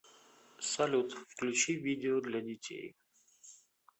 салют включи видео для детей